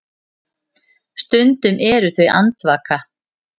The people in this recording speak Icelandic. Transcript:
Stundum eru þau andvaka.